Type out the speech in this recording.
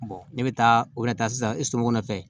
ne bɛ taa o bɛ na taa sisan e sumana fɛ